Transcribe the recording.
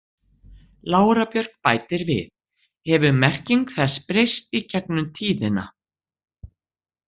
Lára Björk bætir við: Hefur merking þess breyst í gegnum tíðina?